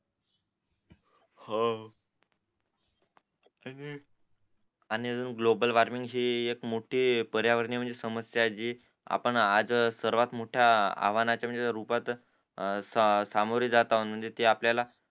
हो आणि अजून ग्लोबल वॉर्मिंग हि पारियावर्णीय समस्या आहे आपण आज म्हणजे सर्वात मोठ्या आव्हानाच्या म्हणजे रूपात सामोरे जात आहोत म्हणजे ते आपल्याला